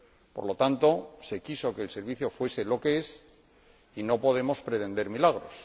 Por lo tanto, se quiso que el Servicio fuese lo que es y no podemos pretender milagros.